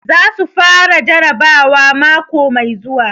Za su fara jarabawa mako mai zuwa.